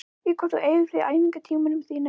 Í hvað eyðir þú æfingartímanum þínum?